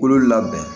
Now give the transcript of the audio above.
Kolo labɛn